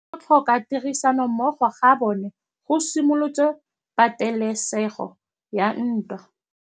Go tlhoka tirsanommogo ga bone go simolotse patêlêsêgô ya ntwa.